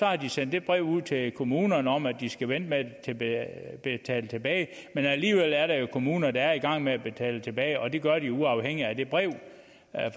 har de sendt det brev ud til kommunerne om at de skal vente med at betale tilbage men alligevel er der jo kommuner der er i gang med at betale tilbage og det gør de jo uafhængigt af det brev